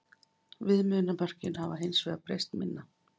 Viðmiðunarmörkin hafa hins vegar breyst minna.